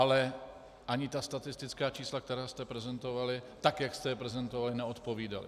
Ale ani ta statistická čísla, která jste prezentovali, tak jak jste je prezentovali, neodpovídala.